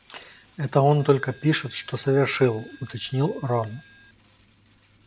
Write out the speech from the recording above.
это он только пишет что совершил уточнил рон